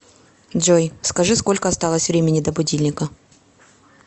джой скажи сколько осталось времени до будильника